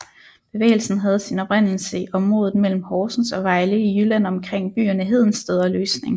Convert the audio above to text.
Bevægelsen havde sin oprindelse i området mellem Horsens og Vejle i Jylland omkring byerne Hedensted og Løsning